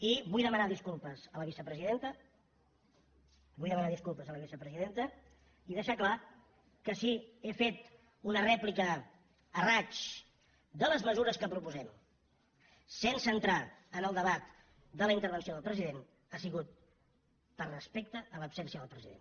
i vull demanar disculpes a la vicepresidenta vull demanar disculpes a la vicepresidenta i deixar clar que si he fet una rèplica a raig de les mesures que proposem sense entrar en el debat de la intervenció del president ha sigut per respecte a l’absència del president